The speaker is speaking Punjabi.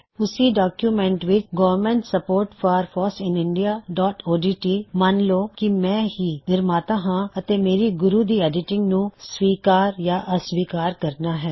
ਉਸੀ ਡੌਕਯੂਮੈੱਨਟ ਵਿੱਚ government support for FOSS in India dot O D T government support for foss in indiaਓਡਟ ਮੰਨ ਲੋ ਕੀ ਮੈ ਹੀ ਨਿਰਮਾਤਾ ਹਾਂ ਅਤੇ ਮੈਹੀ ਗੁਰੂ ਦੀ ਐੱਡਿਟਿੰਗ ਨੂੰ ਸਵੀਕਾਰ ਜਾਂ ਅਸਵੀਕਾਰ ਕਰਨਾ ਹੈ